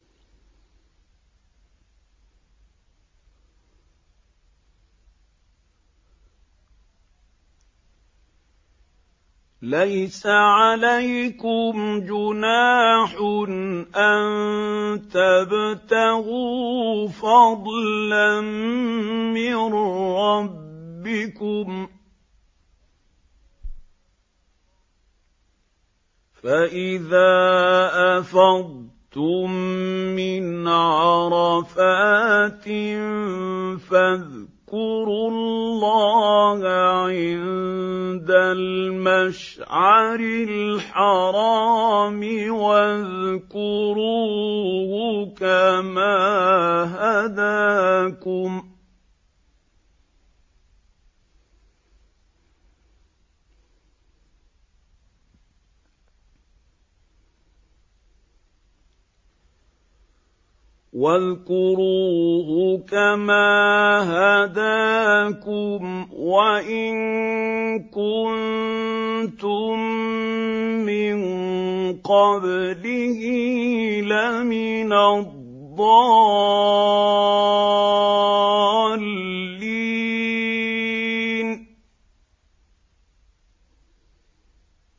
لَيْسَ عَلَيْكُمْ جُنَاحٌ أَن تَبْتَغُوا فَضْلًا مِّن رَّبِّكُمْ ۚ فَإِذَا أَفَضْتُم مِّنْ عَرَفَاتٍ فَاذْكُرُوا اللَّهَ عِندَ الْمَشْعَرِ الْحَرَامِ ۖ وَاذْكُرُوهُ كَمَا هَدَاكُمْ وَإِن كُنتُم مِّن قَبْلِهِ لَمِنَ الضَّالِّينَ